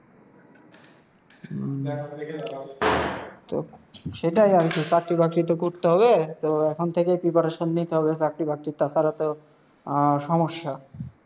উম তো, সেটাই আর কি, চাকরি বাকরি তো করতে হবে। তো এখন থেকেই preparation নিতে হবে চাকরি বাকরির, তা ছাড়া তো আহ সমস্যা।